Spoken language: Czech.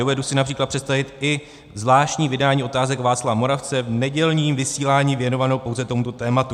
Dovedu si například představit i zvláštní vydání Otázek Václava Moravce v nedělním vysílání věnované pouze tomuto tématu."